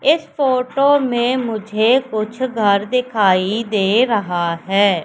इस फोटो में मुझे कुछ घर दिखाई दे रहा है।